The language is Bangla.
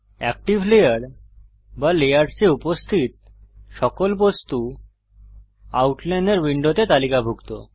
এক্টিভ লেয়ার বা লেয়ার্সে উপস্থিত সকল বস্তু আউটলাইনর উইন্ডোতে তালিকাভুক্ত